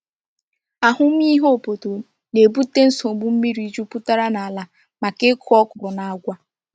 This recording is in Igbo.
Ahụmịhe obodo na-ebute nsogbu mmiri jupụtara n’ala maka ịkụ ọkwụrụ na agwa.